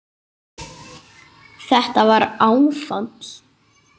Þetta var áfall.